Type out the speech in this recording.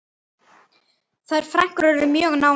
Þær frænkur urðu mjög nánar.